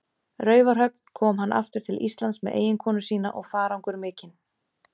Raufarhöfn, kom hann aftur til Íslands með eiginkonu sína og farangur mikinn.